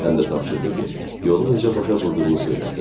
Həm də tapşırdı ki, yolu necə başa vurduğunu söyləsin.